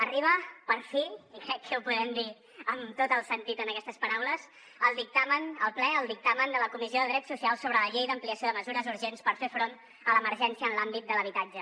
arriba per fi i crec que ho podem dir amb tot el sentit en aquestes paraules el dictamen al ple el dictamen de la comissió de drets socials sobre la llei d’ampliació de mesures urgents per fer front a l’emergència en l’àmbit de l’habitatge